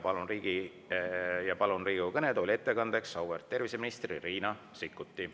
Palun Riigikogu kõnetooli ettekandeks auväärt terviseministri Riina Sikkuti.